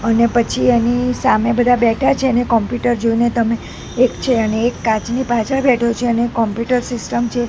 અને પછી એની સામે બધા બેઠા છે અને કોમ્પ્યુટર જોઈને તમે એક છે અને એક કાચની પાછળ બેઠો છે અને કોમ્પ્યુટર સીસ્ટમ છે.